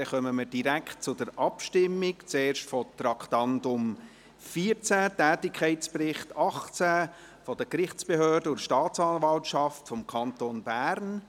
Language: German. Somit kommen wir direkt zur Abstimmung, zuerst über das Traktandum 14, Tätigkeitsbericht 2018 der Gerichtsbehörden und der Staatsanwaltschaft des Kantons Bern.